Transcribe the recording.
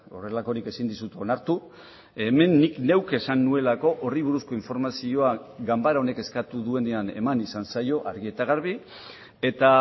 horrelakorik ezin dizut onartu hemen nik neuk esan nuelako horri buruzko informazioa ganbara honek eskatu duenean eman izan zaio argi eta garbi eta